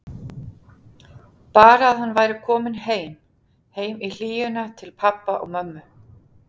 Bara að hann væri kominn heim, heim í hlýjuna til pabba og mömmu.